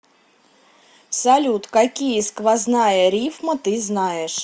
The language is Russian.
салют какие сквозная рифма ты знаешь